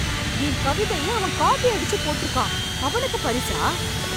என் கவிதையை அவன் காப்பி அடிச்சு போட்ருக்கான்... அவனுக்கு பரிசா?